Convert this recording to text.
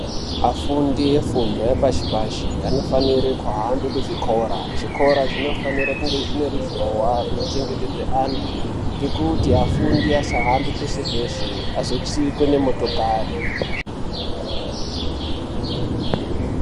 Afundi efundo yepashi pashi anofanire kuhambe kuzvikora, zvikora zvinofanire kunge zvine ruzhowa runochengetedza antu ngekuti afundi asahambe peshe peshe azotsikwe nemotokari.